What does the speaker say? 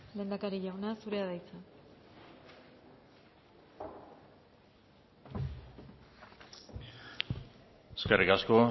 lehendakari jauna zurea da hitza eskerrik asko